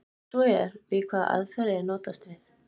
Ef svo er, við hvaða aðferðir er notast við?